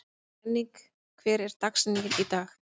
Henning, hver er dagsetningin í dag?